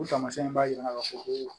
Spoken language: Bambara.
O taamasiyɛn b'a yira ka fɔ ko